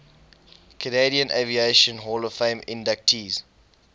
canadian aviation hall of fame inductees